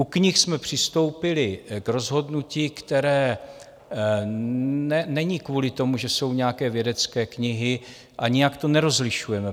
U knih jsme přistoupili k rozhodnutí, které není kvůli tomu, že jsou nějaké vědecké knihy, a nijak to nerozlišujeme.